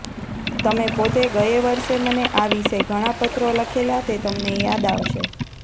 તમે પોતે ગયે વર્ષે મને આ વિશે ઘણા પત્રો લખેલા તે તમને યાદ આવશે